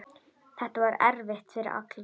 Þetta var erfitt fyrir alla.